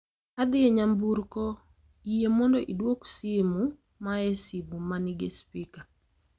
Adhi e nyamburko, yie mondo iduok simu maa e simu ma nigi spika